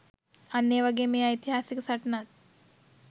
අන්න ඒ වගේ මේ ඓතිහාසික සටනත්